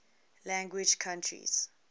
language countries